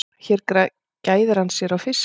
Hér gæðir hann sér á fiski.